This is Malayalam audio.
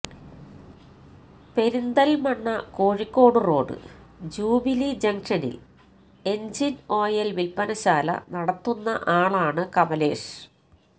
പെരിന്തല്മണ്ണ കോഴിക്കോട് റോഡ് ജൂബിലി ജങ്ഷനില് എന്ജിന് ഓയില് വില്പ്പനശാല നടത്തുന്ന ആളാണ് കമലേഷ്